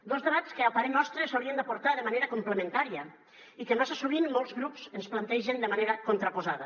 dos debats que a parer nostre s’haurien de portar de manera complementària i que massa sovint molts grups ens plantegen de manera contraposada